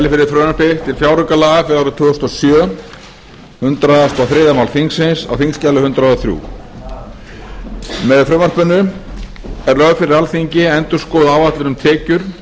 árið tvö þúsund og sjö hundrað og þriðja máli þingsins á þingskjali hundrað og þrjú með frumvarpinu er lögð fyrir alþingi endurskoðuð áætlun um tekjur í